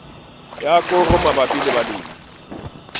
ya koro mabapi le balemi